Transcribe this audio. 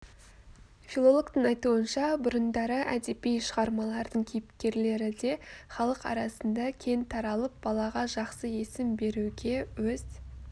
филологтың айтуынша бұрындары әдеби шығармалардың кейіпкерлері де халық арасында кең таралып балаға жақсы есім беруге өз